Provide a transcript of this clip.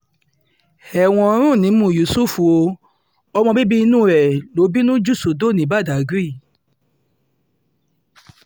ẹ̀wọ̀n ń rùn nímú yusuf ó ọmọ bíbí inú ẹ̀ ló bínú jù sódò ní badág